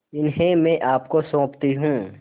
इन्हें मैं आपको सौंपती हूँ